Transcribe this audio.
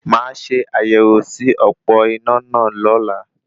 Mà a ṣe àyẹ̀wò sí òpó iná náà lola